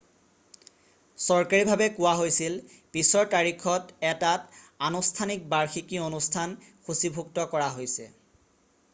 চৰকাৰীভাৱে কোৱা হৈছিল পিছৰ তাৰিখত এটাত আনুষ্ঠানিক বাৰ্ষিকী অনুষ্ঠান সূচীভুক্ত কৰা হৈছে